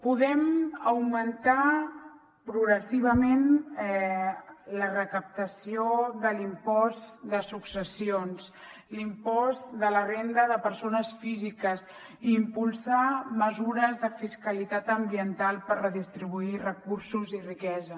podem augmentar progressivament la recaptació de l’impost de successions l’impost de la renda de persones físiques i impulsar mesures de fiscalitat ambiental per redistribuir recursos i riquesa